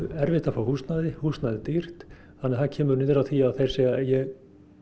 erfitt að fá húsnæði og húsnæði er dýrt það kemur niður á því að þeir segja ég